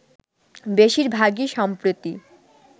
বেশির ভাগই সম্প্রতি